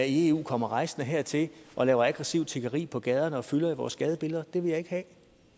i eu kommer rejsende hertil og laver aggressivt tiggeri på gaderne og fylder i vores gadebillede det vil jeg ikke have